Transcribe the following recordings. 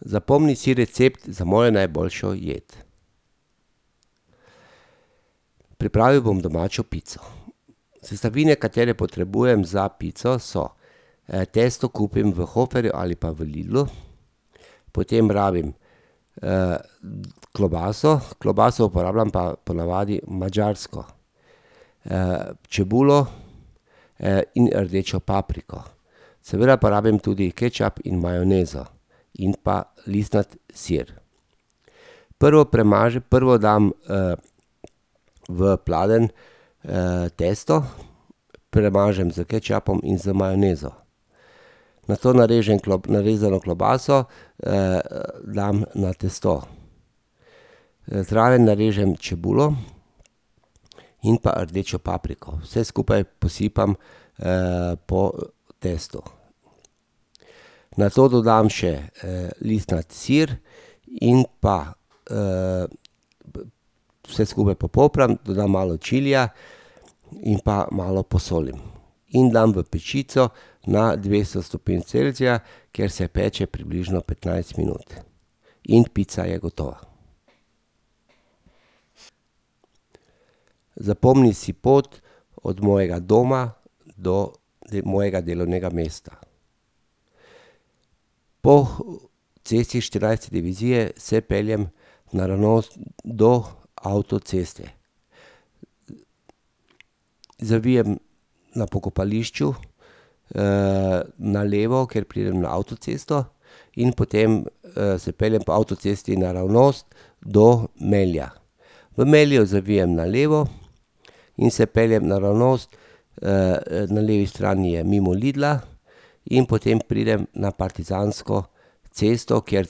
Zapomni si recept za mojo najboljšo jed. Pripravil bom domačo pico. Sestavine, katere potrebujem za pico, so: testo kupim v Hoferju ali pa v Lidlu. Potem rabim, klobaso, klobaso pa uporabljam ponavadi madžarsko. čebulo, in rdečo papriko. Seveda pa rabim tudi kečap in majonezo. In pa listnati sir. Prvo prvo dam, v pladenj, testo, premažem s kečapom in z majonezo. Nato narežem narezano klobaso, dam na testo, zraven narežem čebulo in pa rdečo papriko, vse skupaj posipam, po testu. Nato dodam še, listnati sir in pa, vse skupaj popopram, dodam malo čilija in pa malo posolim in dam v pečico na dvesto stopinj Celzija, kjer se peče približno petnajst minut. In pica je gotova. Zapomni si pot od mojega doma do mojega delovnega mesta. Po cesti Štirinajste divizije se peljem naravnost do avtoceste. Zavijem na pokopališču, na levo, kjer pridem na avtocesto in potem, se peljem po avtocesti naravnost do Melja. V Melju zavijem na levo in se peljem naravnost, na levi strani je mimo Lidla in potem pridem na Partizansko cesto, kjer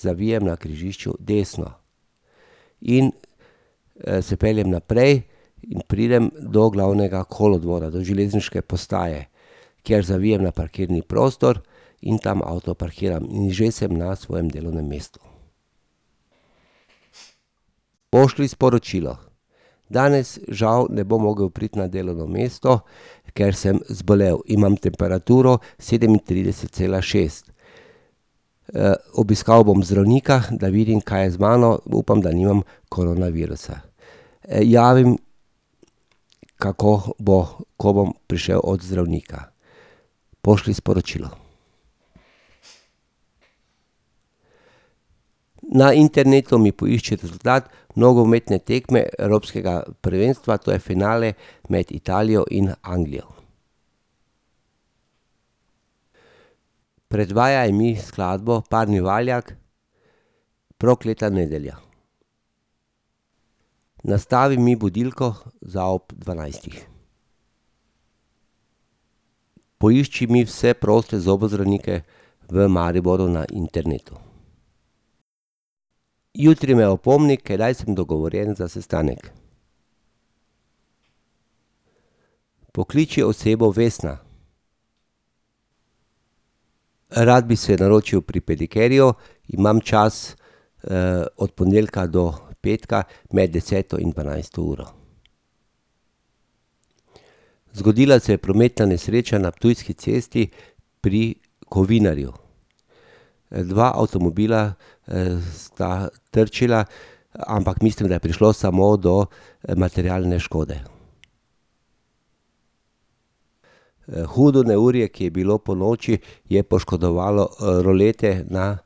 zavijem na križišču desno. In, se peljem naprej in pridem do glavnega kolodvora, do železniške postaje, kjer zavijem na parkirni prostor in tam avto parkiram in že sem na svojem delovnem mestu. Pošlji sporočilo: "Danes, žal, ne bom mogel priti na delovno mesto, ker sem zbolel. Imam temperaturo sedemintrideset cela šest. obiskal bom zdravnika, da vidim, kaj je z mano. Upam, da nimam koronavirusa. javim, kako bo, ko bom prišel od zdravnika." Pošlji sporočilo. Na internetu mi poišči rezultat nogometne tekme Evropskega prvenstva, to je finale med Italijo in Anglijo. Predvajaj mi skladbo Parni valjak Prokleta nedelja. Nastavi mi budilko za ob dvanajstih. Poišči mi vse proste zobozdravnike v Mariboru na internetu. Jutri me opomni, kdaj sem dogovorjen za sestanek. Pokliči osebo Vesna. rad bi se naročil pri pedikerju imam čas, od ponedeljka do petka med deseto in dvanajsto uro. Zgodila se je prometna nesreča na Ptujski cesti pri Kovinarju. dva avtomobila, sta trčila, ampak mislim, da je prišlo samo do, materialne škode. hudo neurje, ki je bilo ponoči, je poškodovalo, rulete na,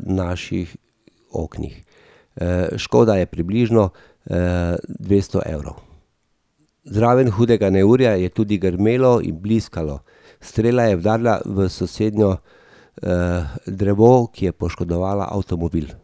naših oknih. škoda je približno, dvesto evrov. Zraven hudega neurja je tudi grmelo in bliskalo. Strela je udarila v sosednje, drevo, ki je poškodovalo avtomobil.